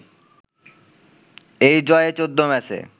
এই জয়ে ১৪ ম্যাচে